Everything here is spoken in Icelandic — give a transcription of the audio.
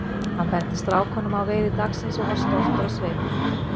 Hann benti strákunum á veiði dagsins og var stoltur á svip.